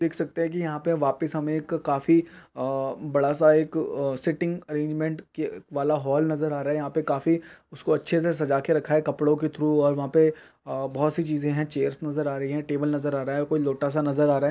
देख सकते हैं कि यहाँ पर वापिस हमें एक काफी अअ बड़ा सा एक अअ सेटिंग्स अरेजमेंट के वाला हाल नज़र आ रहा है यहाँ पर काफी उसको अच्छे से सजा के रखा है कपड़ों के थ्रू और वहाँ पे बहुत सी चीजे हैं चेयर्स नज़र आ रही है टेबल नज़र आ रहा है कोई लोटा सा नज़र आ रहा है।